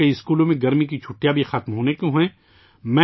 اب کئی اسکولوں میں گرمی کی چھٹیاں بھی ختم ہونے والی ہیں